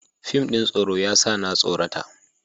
Fim ɗin tsoro ya sa na tsorata.